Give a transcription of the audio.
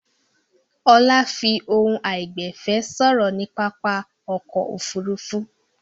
Ọlá fi ohùn àìgbẹ̀fẹ̀ sọ̀rọ̀ ní pápá ọkọ̀-òfurufú.